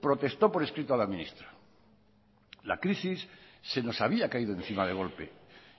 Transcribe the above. protestó por escrito a la ministra la crisis se nos había caído encima de golpe